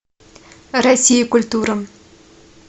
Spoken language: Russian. россия культура